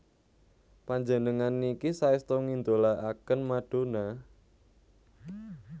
Panjenengan niki saestu ngidolaaken Madonna?